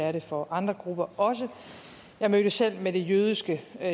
er det for andre grupper jeg mødtes selv med det jødiske